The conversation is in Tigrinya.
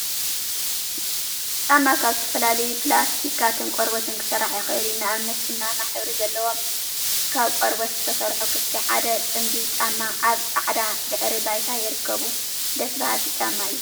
ጫማ ካብ ዝተፈላለዩ ፕላስቲካትን ቆርበትን ክስራሕ ይክእል እዩ። ንኣብነት ቡናማ ሕብሪ ዘለዎም ካብ ቆርበት ዝተሰርሑ ክፍቲ ሓደ ጽምዲ ጫማ ኣብ ጻዕዳ ድሕረ ባይታ ይርከቡ። ደስ በሃልቲ ጫማ እዮም።